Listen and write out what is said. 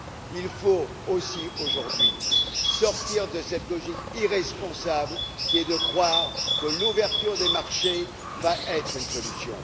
Il faut aussi aujourd'hui sortir de cette logique irresponsable, qui est de croire que l'ouverture des marchés sera une solution.